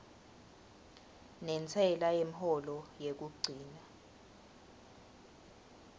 nentsela yemholo yekugcina